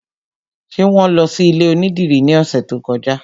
Ṣé wọn lọ sí ilé onídìrí ní ọ̀sẹ̀ tó kọjá?